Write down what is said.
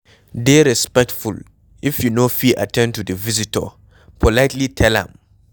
Dey respectful, if you no fit at ten d to di visitor, politely tell am